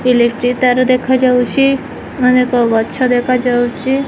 Electric ତାର ଦେଖାଯାଉଚି ଅନେକ ଗଛ ଦେଖାଯାଉଚି।